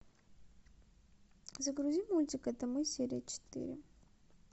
загрузи мультик это мы серия четыре